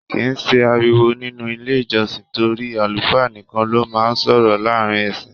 Kì í sí ariwo nínú ilé ìjọsìn torí àlùfáà nìkan ló máa ń sọ̀rọ̀ láàárín ẹ̀ṣìn.